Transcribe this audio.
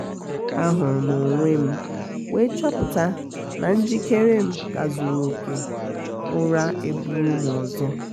a hụrụ m onwe m we chọpụta na njikere m ka zuru oke ụra eburu m ọzọ